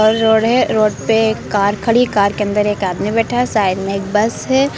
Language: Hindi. और रोड है। रोड पे एक कार खड़ी कार के अंदर एक आदमी बैठा है। साइड में एक बस है।